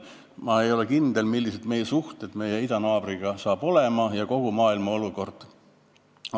Ma ei ole kindel, millised meie suhted idanaabriga hakkavad olema ja milline on kogu maailma olukord.